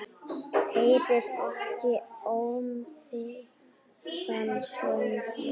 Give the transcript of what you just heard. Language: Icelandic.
Heyrir ekki ómþýðan söng minn.